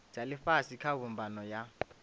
dza ifhasi kha mbumbano ya